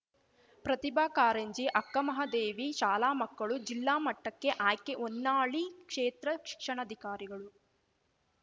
ಪ್ರತಿಭಾ ಕಾರಂಜಿ ಅಕ್ಕಮಹಾದೇವಿ ಶಾಲಾಮಕ್ಕಳು ಜಿಲ್ಲಾ ಮಟ್ಟಕ್ಕೆ ಆಯ್ಕೆ ಹೊನ್ನಾಳಿ ಕ್ಷೇತ್ರ ಶಿಕ್ಷಣಾಧಿಕಾರಿಗಳು